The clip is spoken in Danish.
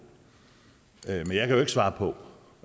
og